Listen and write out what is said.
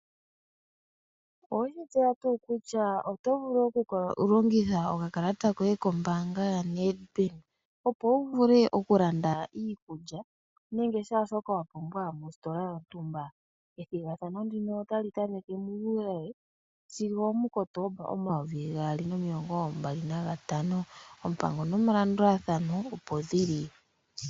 Oweshi tseya tuu kutya oto vulu okulongitha okakalata koye kombaanga ya NEDBANK opo wu vule okulanda iikulya nenge shaa shoka wa pumbwa mositola yontumba. Ethigathano ndika otali tameke mu Juuli sigo omuKotoomba 2025 oompango nomalandulathano opo ndhili.